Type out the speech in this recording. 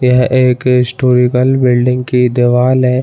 यह एक historical building की दीवाल है।